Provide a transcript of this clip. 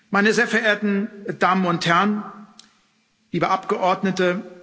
Meine sehr verehrten Damen und Herren, liebe Abgeordnete!